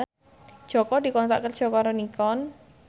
Jaka dikontrak kerja karo Nikon